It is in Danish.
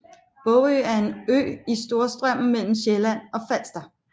Bogø er en ø i Storstrømmen mellem Sjælland og Falster